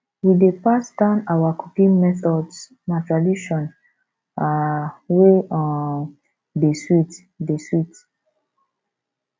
we dey pass down our cooking methods na tradition um wey um dey sweet dey sweet